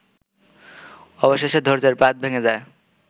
অবশেষে ধৈর্যের বাঁধ ভেঙে যায়